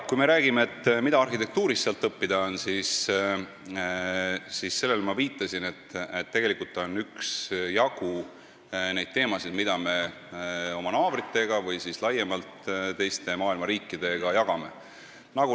Kui me räägime sellest, mida on seal arhitektuurist õppida, siis sellele ma juba viitasin, et on üksjagu teemasid, mida me oma naabritega või laiemalt teiste maailma riikidega jagame.